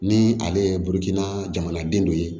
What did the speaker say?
Ni ale ye bukutina jamanaden dɔ ye